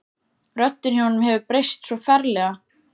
Röddin í honum hefur breyst svo ferlega.